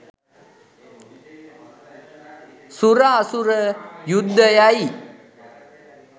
සුර අසුර යුද්ධයයි.